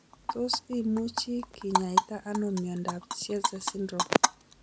Tos imuchi kinyaita ano miondop Tietze syndrome